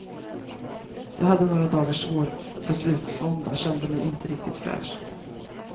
Jag hade några dagars svår beslutsvånda, kände mig inte riktigt fräsch.